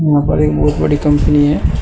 Google एक बहोत बड़ी कंपनी है।